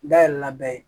Dayɛlɛ na bɛɛ ye